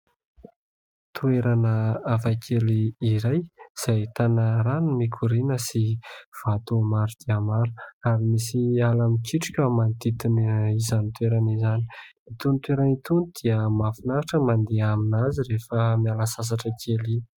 Toerana hafakely iray izay ahitana rano mikoriana sy vato maromaro ary misy ala mikitroka manodidina izany toerana izany. Itony toerana itony dia mahafinaritra ny mandeha amin'azy rehefa miala sasatra kely iny.